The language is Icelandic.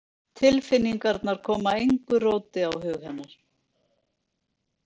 Tilfinningarnar koma engu róti á hug hennar.